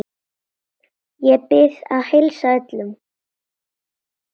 Ég bið að heilsa öllum.